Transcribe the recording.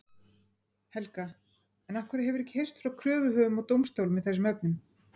Helga: En af hverju hefur ekki heyrst frá kröfuhöfum og dómstólum í þessum efnum?